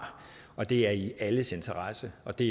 og det er i alles interesse og det